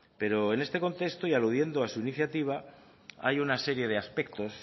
pero en este contexto y aludiendo a su iniciativa hay una serie de aspectos